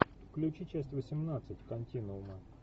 включи часть восемнадцать континуума